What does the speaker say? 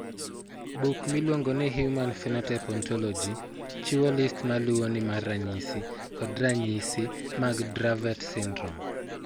Buk miluongo ni Human Phenotype Ontology chiwo list ma luwoni mar ranyisi kod ranyisi mag Dravet syndrome.